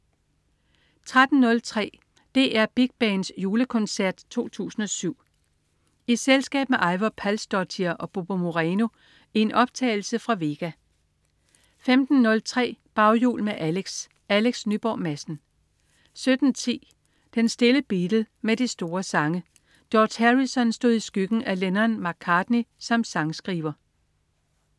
13.03 DR Big Band julekoncert 2007. I selskab med Eivør Palsdottir og Bobo Moreno i en optagelse fra Vega 15.03 Baghjul med Alex. Alex Nyborg Madsen 17.10 Den stille Beatle med de store sange. George Harrison stod i skyggen af Lennon/McCartney som sangskriver